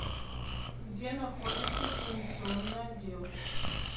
где находится экзаменационный отдел